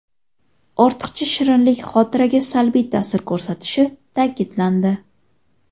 Ortiqcha shirinlik xotiraga salbiy ta’sir ko‘rsatishi ta’kidlandi.